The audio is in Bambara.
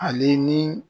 Ale ni